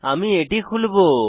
আমি এটি খুলবো